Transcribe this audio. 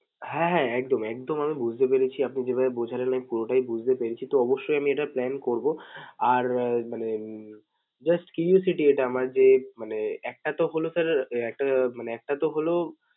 হ্যাঁ হ্যাঁ একদম একদম আমি বুঝতে পেরেছি আপনি যেভাবে বোঝালেন আমি পুরোটাই বুঝতে পেরেছি। তো অব্যশই আমি এটা plan করবো। আর মানে উম just curiosity এটা আমার যে মানে একটা তো হলো sir একটা মানে একটা তো হলো